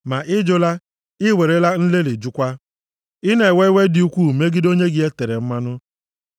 Ma ị jụla, i werela nlelị jụkwa, i na-ewe iwe dị ukwu megide onye gị e tere mmanụ.